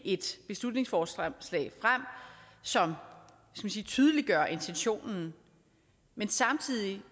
et beslutningsforslag som tydeliggør intentionen men samtidig